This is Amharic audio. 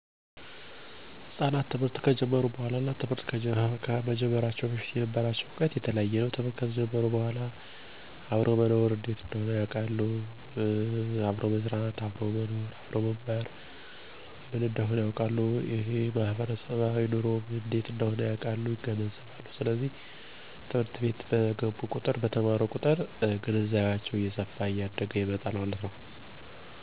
ልጆች ትምህርት ከጀመሩ በኋላ ብዙ የባህሪ እነ የአስተሳሰብ ለውጦችን ያሳያሉ። ከነዚህም ውስጥ እንደሚከተሉት የገለጹ ይችላሉ። 1, ማህበራዊ ግንኙነቶች፦ ላይ ትምህርት ብዙ ጥቅም አለው ለምሳሌ፦ ልጆች በራስ መተማመንን መጨመራ፣ የቡድን ስራ እንዲጎብዙ ማድርግ እና አዳዲስ ጓደኞችዎ ማፍርት ላይ ክህሎታቸው ይዳብራል። 2, ሰነ-ስርአት፦ ትምህርት የልጆች ስነ ስርአት ላይ አጥብቆ ይሰራል ለምሳሌ፦ የጊዜ አሰተዳደር (አጠቃቀም ላይ) ፣ኋላፊነት እንዲወሰድ እና ህግን መከተል ትምህርት ለልጆች ወሳኝ ነው። 3, የማወቅ ጉጉት፦ ልጆች ወደ ትምህርት አቤት ሲገቡ አዲስ ነገር እንዲውቁ ነው። በዚህም የተነሳ ልጆች ብዙ ጥያቄዎች መጠየቅ እና አዲስ ፈጠራዎችን እንዲሰሩ ያደርጋቸዋል። 4, በዕለት ተዕለት እንቅስቃሴዎች፦ ትምህርት አቤት የተማሩት በየ ቀኑ የጤና እነ የአካል ማብቃት እንቅስቃሴ ይሰራሉ።